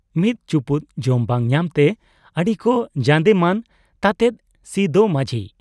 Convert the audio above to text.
ᱢᱤᱫ ᱪᱩᱯᱩᱫ ᱡᱚᱢ ᱵᱟᱝ ᱧᱟᱢᱛᱮ ᱟᱹᱰᱤ ᱠᱚ ᱡᱟᱸᱫᱮᱢᱟᱱ ᱛᱟᱸᱫᱮᱫ ᱥᱤᱫᱚ ᱢᱟᱡᱷᱤ ᱾